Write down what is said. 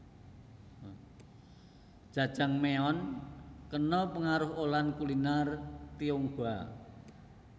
Jajangmyeon kena pengaruh olahan kuliner Tionghoa